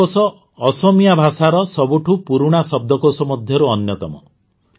ହେମକୋଷ ଅସମିୟା ଭାଷାର ସବୁଠୁ ପୁରୁଣା ଶବ୍ଦକୋଷ ମଧ୍ୟରୁ ଅନ୍ୟତମ